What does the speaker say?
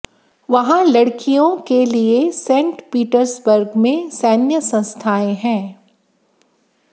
वहाँ लड़कियों Saint Petersburg में के लिए सैन्य संस्थाएं हैं